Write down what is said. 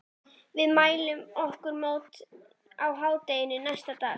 Við mæltum okkur mót á hádegi næsta dag.